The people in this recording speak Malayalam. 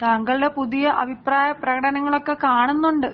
താങ്കളുടെ പുതിയ അഭിപ്രായ പ്രകടനങ്ങളൊക്കെ കാണുന്നുണ്ട്.